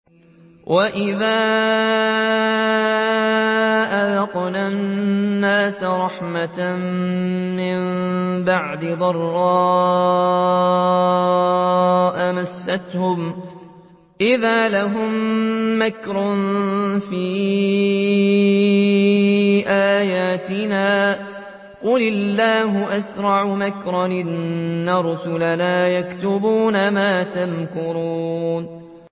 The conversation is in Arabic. وَإِذَا أَذَقْنَا النَّاسَ رَحْمَةً مِّن بَعْدِ ضَرَّاءَ مَسَّتْهُمْ إِذَا لَهُم مَّكْرٌ فِي آيَاتِنَا ۚ قُلِ اللَّهُ أَسْرَعُ مَكْرًا ۚ إِنَّ رُسُلَنَا يَكْتُبُونَ مَا تَمْكُرُونَ